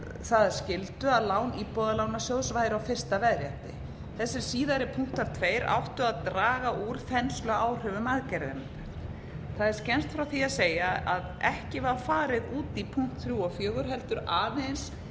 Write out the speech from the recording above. það að skyldu að lán íbúðalánasjóðs væru á fyrsta veðrétti þessir síðari punktar tveir áttu að draga úr þensluáhrifum aðgerðarinnar það er skemmst frá því að segja að ekki var farið út í punkt þrjú og fjögur heldur aðeins